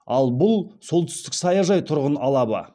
ал бұл солтүстік саяжай тұрғын алабы